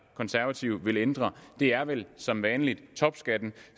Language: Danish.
konservative vil ændre det er vel som vanligt topskatten